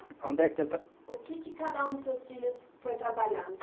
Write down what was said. Aonde é que ele tra. O que que cada um dos seus filhos foi trabalhar?